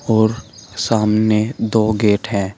और सामने दो गेट हैं।